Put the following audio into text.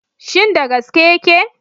Shin da gaske yake?